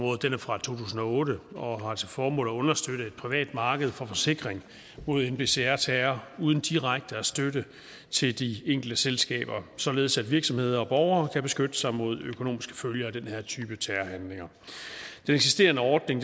fra to tusind og otte og har til formål at understøtte et privat marked for forsikring mod nbcr terror uden direkte støtte til de enkelte selskaber således at virksomheder og borgere kan beskytte sig mod økonomiske følger af den her type terrorhandlinger den eksisterende ordning